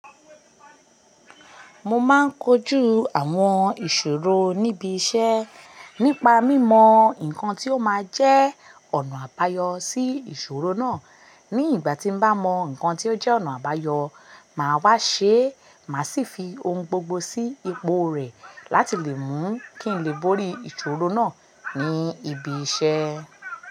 Mo máa ń kojú àwọn ìṣòro ní bi ṣe nípa mímọ̀ nkan tó má jẹ́ ọ̀nà àbáyọ sí ìṣòro ná. Ní ìgbà tí mo bá mọ nǹkan tí ó jẹ́ ọ̀nà àbáyọ máa wá ṣe, màá sì fi ohun gbogbo sí ipò rẹ̀ láti lè mú kí n lè bori ìṣòro náà ní ibi iṣẹ́.